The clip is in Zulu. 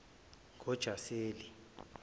ngojaseli